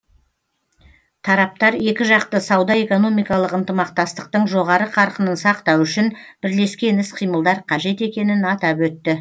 тараптар екіжақты сауда экономикалық ынтымақтастықтың жоғары қарқынын сақтау үшін бірлескен іс қимылдар қажет екенін атап өтті